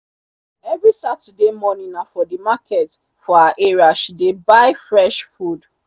every saturday morning na for the market for her area she dey buy fresh food.